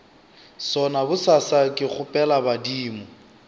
sona bosasa ke kgopela badimo